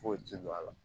Foyi tɛ don a la